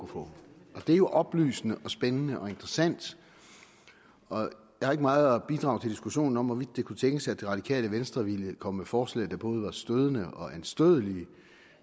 få det er jo oplysende spændende og interessant og jeg har ikke meget at bidrage til diskussionen til hvorvidt det kunne tænkes at det radikale venstre ville komme med forslag der både var stødende og anstødelige